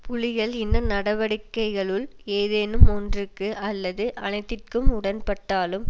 புலிகள் இந்த நடவடிக்கைகளுள் ஏதேனும் ஒன்றுக்கு அல்லது அனைத்திற்கும் உடன்பட்டாலும்